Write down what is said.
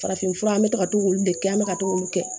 Farafinfura an bɛ ka to k'olu de kɛ an bɛ ka to k'olu kɛ